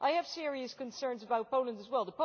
I have serious concerns about Poland as well.